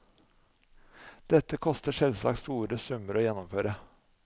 Dette koster selvsagt store summer å gjennomføre.